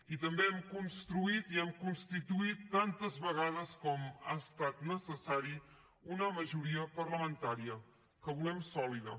i també hem construït i hem constituït tantes vegades com ha estat necessari una majoria parlamentària que volem sòlida